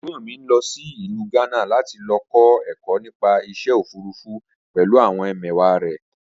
Ẹ̀gbọ́n mi ń lọ sí ìlú Gánà láti lọ kọ́ ẹ̀kọ́ nípa iṣẹ́ òfurufú pẹ̀lú àwọn ẹmẹ̀wàá rẹ̀